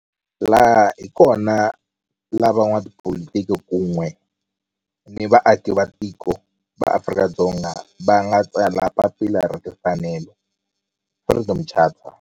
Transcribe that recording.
Laha hi kona la van'watipolitiki kun'we ni vaaki va tiko va Afrika-Dzonga va nga tsala papila ra timfanelo, Freedom Charter.